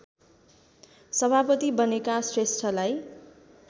सभापति बनेका श्रेष्ठलाई